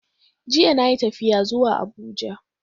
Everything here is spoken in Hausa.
Jiya na yi tafiya zuwa Abuja.